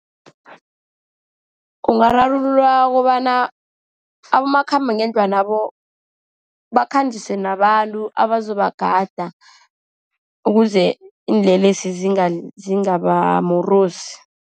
Ungararululwa kobana abomakhambangendlwanabo bakhanjiswe nabantu abazobagada, ukuze iinlelesi zingabamorosi.